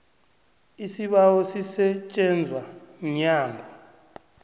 isibawo sisetjenzwa mnyango